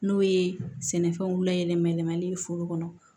N'o ye sɛnɛfɛnw layɛlɛ yɛlɛmali ye foro kɔnɔ